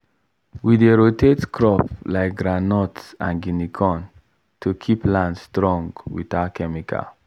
we dey rotate crop like groundnut and guinea corn to keep land strong without chemical.